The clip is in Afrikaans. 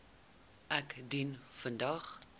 ek dien vandag